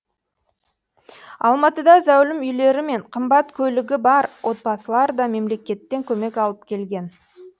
алматыда зәулім үйлері мен қымбат көлігі бар отбасылар да мемлекеттен көмек алып келген